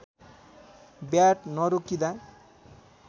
bat नरोकिदा